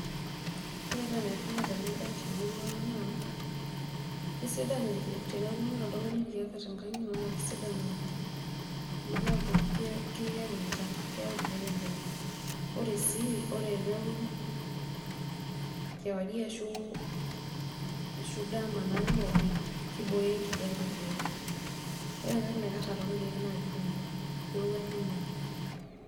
Orepaa enetipat enabae temurua aang naa kesidan irkiek teneaku iwuno oshi oltungani tenkop inyi na kesidan oleng amu keyau emcham, ore sii eneaku kewarie ashu dama neirobi kibooyo enkijape rkiek, ore entoki naikara torkiek naa keirowua naa.